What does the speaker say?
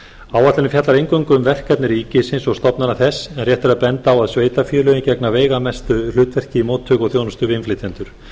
áætlunin fjallar eingöngu um verkefni ríkisins og stofnana þess en rétt er að benda á að sveitarfélögin gegna veigamestu hlutverki í móttöku og þjónustu við innflytjendur